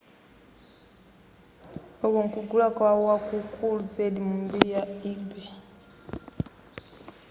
uku nkugula kwa wakukulu zedi mu mbiri ya ebay